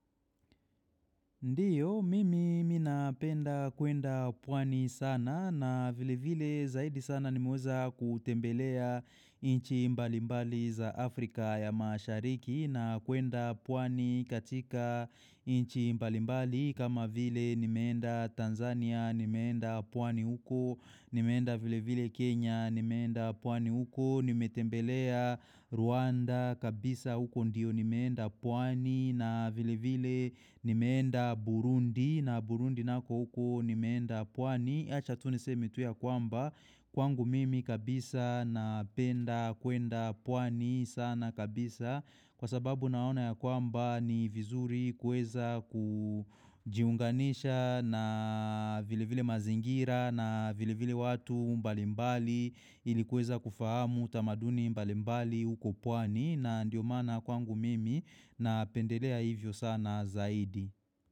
Ndiyo, mimi minapenda kwenda pwani sana na vile vile zaidi sana nimeweza kutembelea inchi mbalimbali za Afrika ya mashariki na kwenda pwani katika inchi mbalimbali kama vile nimeenda Tanzania, nimeenda pwani huko, nimeenda vile vile Kenya, nimeenda pwani huko, nimetembelea Rwanda kabisa huko ndiyo nimeenda pwani na vile vile nimeenda Burundi na Burundi nako uko nimeenda pwani. Wacha tuh niseme tu ya kwamba kwangu mimi kabisa na penda kwenda pwani sana kabisa kwa sababu naona ya kwamba ni vizuri kueza kujiunganisha na vile vile mazingira na vile vile watu mbalimbali ilikuweza kufahamu tamaduni mbalimbali uko pwani na ndio maana kwangu mimi na pendelea hivyo sana zaidi.